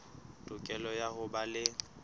tokelo ya ho ba le